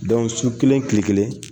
su kelen kile kelen